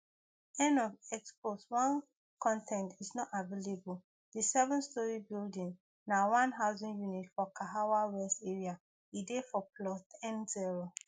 end of x post one con ten t is not available di sevenstory building na one housing unit for kahawa west area edey for plot nzero